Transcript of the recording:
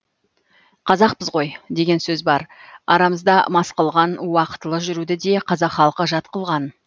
қазақпыз ғой деген сөз бар арамызда мас қылған уақытылы жүруді де қазақ халқы жат қылған